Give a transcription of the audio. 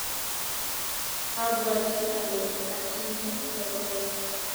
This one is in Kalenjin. abwatii ale atinye koroi.